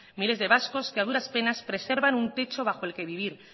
miles de vascos que a duras penas preservan un techo bajo el que vivir